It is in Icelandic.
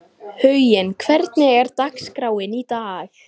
Huginn, hvernig er dagskráin í dag?